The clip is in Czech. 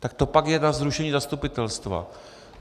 Tak to pak je na zrušení zastupitelstva.